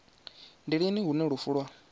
ndi lini hune lufu lwa